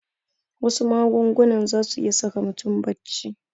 Wasu magungunan zasu iya saka mutum bacci